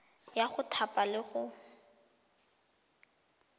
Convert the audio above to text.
ya go thapa le go